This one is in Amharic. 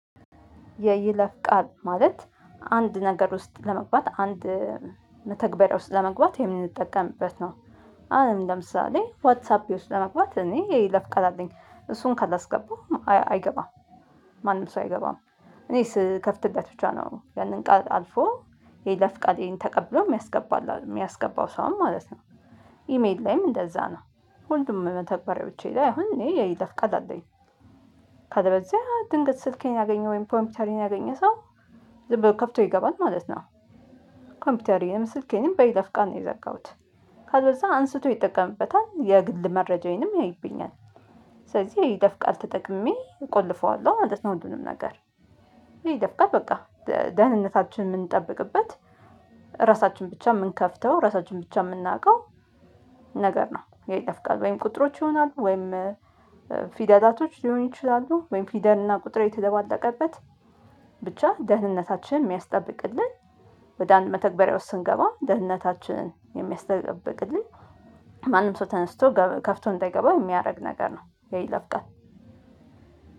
የይለፍ ቃል ማለት አንድ ነገር ውስጥ ለመግባት አንድ መተግበሪያ ውስጥ ለመግባት የምንጠቀምበት ነው። አሁን ለምሳሌ ዋትስአፔ ውስጥ ለመግባት እኔ የይለፍ ቃል አለኝ እሱን ካላስገባው አይገባም። ማንም ሰው አይገባም። እኔ ስከፍትለት ብቻ ነው ያንን ቃል አልፎ የይለፍ ቃሌን ተቀብሎ የሚያስገባልህ የሚያስገባው ሰውም ማለት ነው። ኢሜል ላይም እንደዛ ነው ሁሉም መተግበሪያዎቼ ላይ አሁን እኔ የይለፍ ቃል አለኝ። ካለበለዚያ ድንገት ስልኬን ያገኘው ወይም ኮምፒውተሬን ያገኘ ሰው ዝም ብሎ ከፍቶ ይገባል ማለት ነው። ኮምፒውተሬንም ስልኬንም በይለፍ ቃል ነው የዘጋሁት። ካለበለዛ አንስቶ ይጠቀምበታል የግል መረጃዬንም ያይብኛል። ስለዚህ የይለፍ ቃል ተጠቅሜ እቆልፈዋለሁ ማለት ነው። ሁሉንም ነገር። የይለፍ ቃል በቃ ደህንነታችን የምንጠብቅበት ራሳችን ብቻ የምንከፍተው ራሳችን ብቻ የምናውቀው። ነገር ነው የይለፍ ቃል ወይም ቁጥሮች ይሆናሉ። ወይም ፊደላቶች ሊሆኑ ይችላሉ። ወይም ፊደል እና ቁጥር የተደባለቀበት። ብቻ ደህንነታችንን የሚያስጠብቅልን። ወደ አንድ መተግበሪያዎች ስንገባ ደህንነታችንን የሚያስጠብቅልን። ማንም ሰው ተነስቶ ከፍቶ እንዳይገባ የሚያደርግ ነገር ነው። የይለፍ ቃል